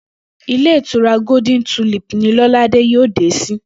Ilé ìtura Golden Tulip ní Ló̩ládé yóò dé sí